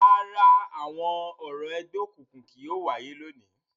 Rárá, awọn orȯ ẹgbẹokunkun kii yóò waye lóni.